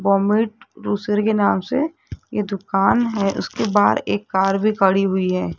Baumit रोसर के नाम से ये दुकान है उसके बाहर एक कार भी खड़ी हुई है।